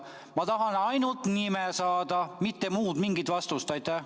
Ma tahan ainult nime saada, mitte mingit muud vastust.